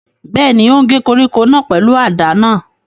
Bẹ́ẹ̀ni, ó ń gé koríko náà pẹ̀lú àdá náà